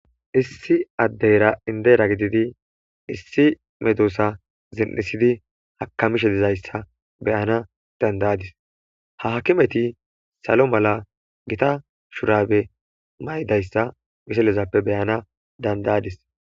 issi addeyra indera gididi issi medosa zin7isidi hakamishe dizayssa beyana dandayadis ha hakimeti salo mala gita shurabe maydayssa biselezappe beyana dandayadis